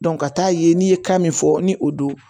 ka taa ye n'i ye kan min fɔ ni o don